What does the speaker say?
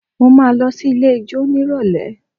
Mo máa lọ sí ilé ijó nírọ̀lẹ́